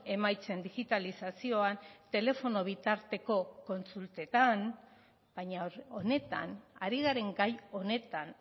emaitzen digitalizazioan telefono bitarteko kontsultetan baina honetan ari garen gai honetan